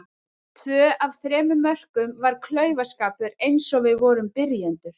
Tvö af þremur mörkum var klaufaskapur eins og við vorum byrjendur.